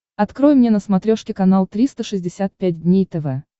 открой мне на смотрешке канал триста шестьдесят пять дней тв